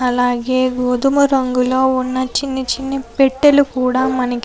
అలాగే గోధుమ రంగులో ఉన్న చిన్ని చిన్ని పెట్టులు కూడా మనకి --